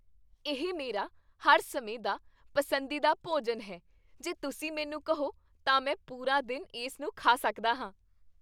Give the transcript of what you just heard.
ਇਹ ਮੇਰਾ ਹਰ ਸਮੇਂ ਦਾ ਪਸੰਦੀਦਾ ਭੋਜਨ ਹੈ, ਜੇ ਤੁਸੀਂ ਮੈਨੂੰ ਕਹੋ, ਤਾਂ ਮੈਂ ਪੂਰਾ ਦਿਨ ਇਸ ਨੂੰ ਖਾ ਸਕਦਾ ਹਾਂ।